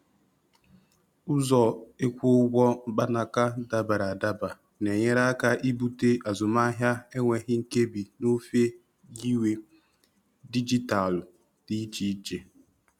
Ụzọ ịkwụ ụgwọ mkpanaka dabara adaba n'enyere aka ibute azụmahịa enweghị nkebi n'ofe nyiwe dijitalụ dị iche iche.